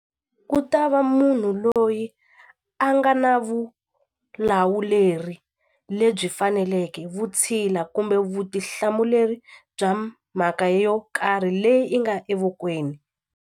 Ku ta va munhu loyi a nga na vulawuleri lebyi faneleke vutshila kumbe vutihlamuleri bya mhaka yo karhi leyi i nga evokweni.